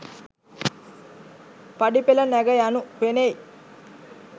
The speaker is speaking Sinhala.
පඩිපෙළ නැග යනු පෙනෙයි.